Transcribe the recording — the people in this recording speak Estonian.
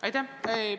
Aitäh!